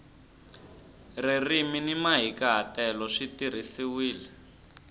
ririmi ni mahikahatelo swi tirhisiwile